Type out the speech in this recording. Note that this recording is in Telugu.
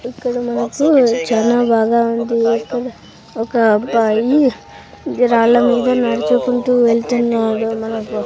ఇక్కడ మనకు చానా బాగా ఉంది ఒక అబ్బాయి రాళ్ళ మీద నడుచుకుంటూ వెళ్తున్నారు మనకు.